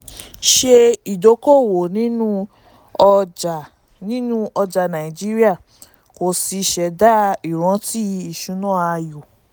ṣe ìdókòwò nínú ọjà nínú ọjà nàìjíríà kí o sì ṣẹ̀dá ìrántí ìṣúná ayọ̀.